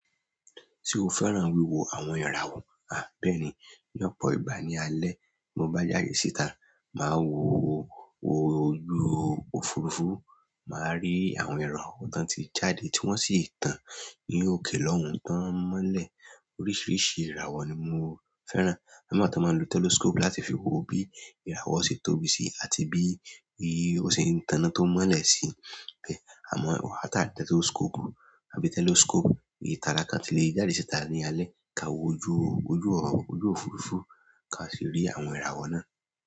Se o fẹ́ràn wíwo àwọn ìràwọ̀? À bẹ́ẹ̀ni. Ní ọ̀pọ̀ ìgbà ní alé, bí mo bá jáde síta, màá wo òju òfurufú, màá rí àwọn ìràwọ̀ tán tí jáde tí wọ́n sì tán ní òkè lọ́hùn tí wọ́n mọ́lẹ̀. Oríṣiríṣi ìràwọ̀ ni mo fẹ́ràn. Àwọn mi wa tan máa ń lo telescope láti fi wo bí ìràwọ̀ ṣe tóbi sí àti bí ó ṣe ń tàn án tó mọ́lẹ̀ sí i. Àmọ́, àtàbí telescope, èyí tálákà tí lè jáde síta ní alẹ́ ká wo ojú òfurufú ká sì rí àwọn ìràwọ̀ náà.